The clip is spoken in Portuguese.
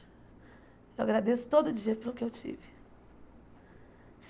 Eu agradeço todo dia pelo que eu tive.